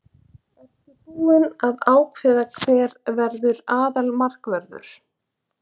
Ertu búinn að ákveða hver verður aðalmarkvörður?